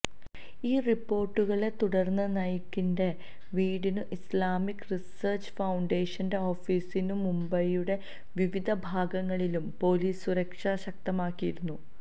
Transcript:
ഈ റിപ്പോര്ട്ടുകളെ തുടര്ന്ന് നായിക്കിന്റെ വീടിനും ഇസ്ലാമിക് റിസര്ച്ച് ഫൌണ്ടേഷന്റെ ഓഫീസിനും മുംബൈയുടെ വിവിധ ഭാഗങ്ങളിലും പൊലീസ് സുരക്ഷ ശക്തമാക്കിയിരുന്നു